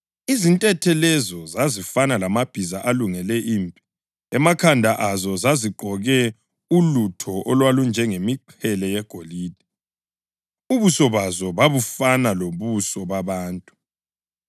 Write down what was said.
Izintethe lezo zazifana lamabhiza alungele impi. Emakhanda azo zazigqoke ulutho olwalunjengemiqhele yegolide, ubuso bazo babufana lobuso babantu.